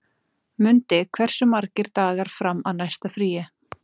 Mundi, hversu margir dagar fram að næsta fríi?